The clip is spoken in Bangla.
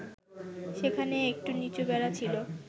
সেখানে একটু নিচু বেড়া ছিল